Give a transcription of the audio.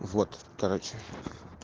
вот короче